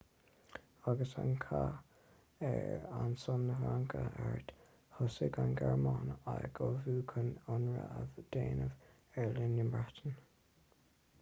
agus an cath ar son na fraince thart thosaigh an ghearmáin ag ullmhú chun ionradh a dhéanamh ar oileán na breataine